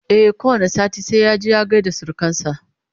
e ko wani sati sai ya je ya gaida surukansa